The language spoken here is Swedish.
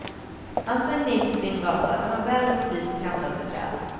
Han svängde in på sin gata, den var väl upplyst och kantad med träd.